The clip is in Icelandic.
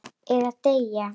Eða deyja.